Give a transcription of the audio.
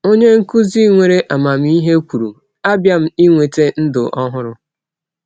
Onye nkụzi nwere amamihe kwuru, “Abịa m iweta ndụ ọhụrụ.”